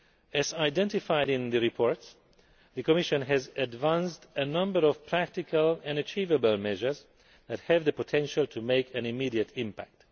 As identified in the reports, the Commission has advanced a number of practical and achievable measures that have the potential to make an immediate impact.